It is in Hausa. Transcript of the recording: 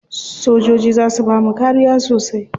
Sojoji za su bamu kariya sosai.